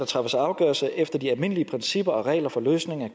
træffes afgørelse efter de almindelige principper og regler for løsning af